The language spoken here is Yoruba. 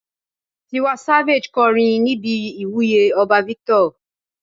Tiwa Savage kọrin níbi ìwúyè ọba Victor.